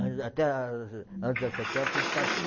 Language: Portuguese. Antes até, antes das sete horas tem que estar tudo